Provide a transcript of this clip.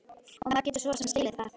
Og maður getur svo sem skilið það.